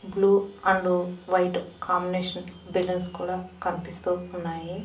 Blue and white combination balloons కూడా కనిపిస్తూ ఉన్నాయి.